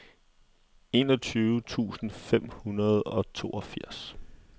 enogtyve tusind fem hundrede og toogfirs